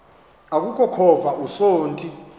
aku khova usonti